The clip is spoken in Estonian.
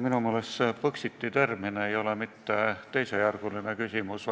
Minu meelest ei ole see Põxiti termin mitte teisejärguline küsimus,